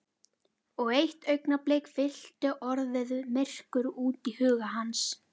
Og eitt augnablik fyllti orðið myrkur út í huga hans.